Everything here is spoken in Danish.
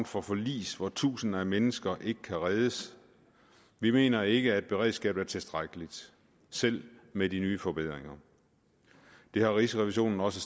for forlis hvor tusinder af mennesker ikke kan reddes vi mener ikke at beredskabet er tilstrækkeligt selv med de nye forbedringer det har rigsrevisionen også